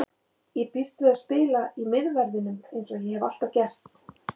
Ég býst við að spila í miðverðinum eins og ég hef alltaf gert.